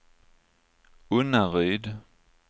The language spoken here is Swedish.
Unnaryd